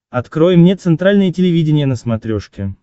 открой мне центральное телевидение на смотрешке